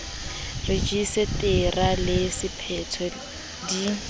rejise tara le sephetho di